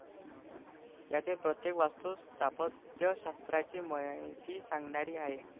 यातील प्रत्येक वास्तु स्थापत्यशास्त्राची महती सांगणारी आहे.